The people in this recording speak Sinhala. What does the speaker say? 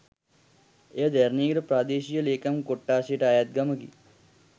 එය දැරණියගල ප්‍රාදේශීය ලේකම් කොට්ඨාසයට අයත් ගමකි